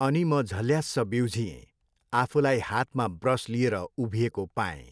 अनि म झल्यास्स बिउझिएँ, आफूलाई हातमा ब्रस लिएर उभिएको पाएँ।